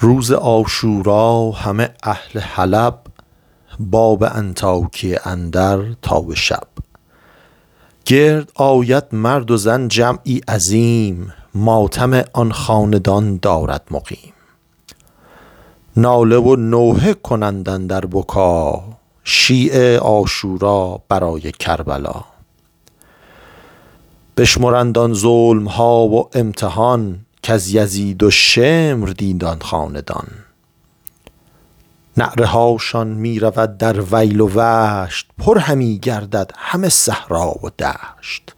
روز عاشورا همه اهل حلب باب انطاکیه اندر تا به شب گرد آید مرد و زن جمعی عظیم ماتم آن خاندان دارد مقیم ناله و نوحه کنند اندر بکا شیعه عاشورا برای کربلا بشمرند آن ظلمها و امتحان کز یزید و شمر دید آن خاندان نعره هاشان می رود در ویل و وشت پر همی گردد همه صحرا و دشت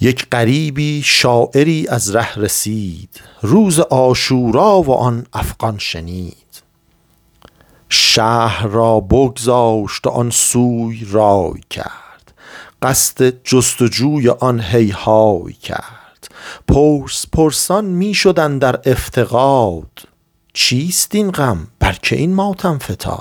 یک غریبی شاعری از ره رسید روز عاشورا و آن افغان شنید شهر را بگذاشت و آن سو رای کرد قصد جست و جوی آن هیهای کرد پرس پرسان می شد اندر افتقاد چیست این غم بر که این ماتم فتاد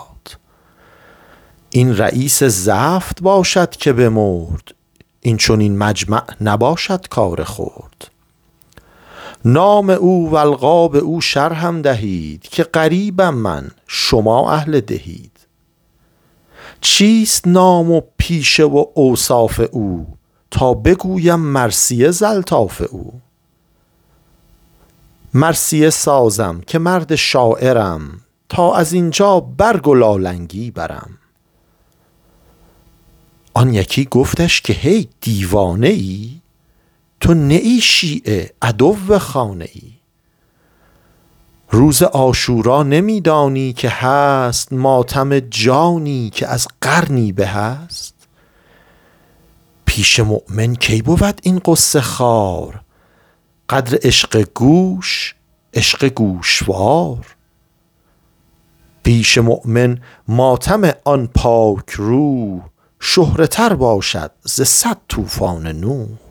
این رییس زفت باشد که بمرد این چنین مجمع نباشد کار خرد نام او و القاب او شرحم دهید که غریبم من شما اهل ده اید چیست نام و پیشه و اوصاف او تا بگویم مرثیه ز الطاف او مرثیه سازم که مرد شاعرم تا ازینجا برگ و لالنگی برم آن یکی گفتش که هی دیوانه ای تو نه ای شیعه عدو خانه ای روز عاشورا نمی دانی که هست ماتم جانی که از قرنی بهست پیش مؤمن کی بود این غصه خوار قدر عشق گوش عشق گوشوار پیش مؤمن ماتم آن پاک روح شهره تر باشد ز صد طوفان نوح